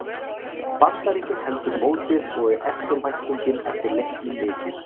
Bandaríkin heldur mótið og er eftirvæntingin eftir leiknum mikil.